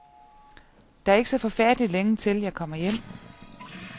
Der er ikke så forfærdelig længe til, jeg kommer hjem.